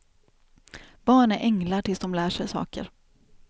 Barn är änglar tills de lär sig saker.